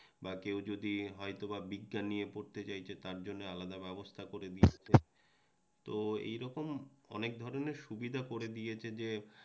বা কেউ যদি হয়তোবা বিজ্ঞান নিয়ে পড়তে চাইছে তার জন্য আলাদা ব্যবস্থা করে দিয়েছে মাইকের আওয়াজ তো এরকম অনেক ধরণের সুবিধা করে দিয়েছে যে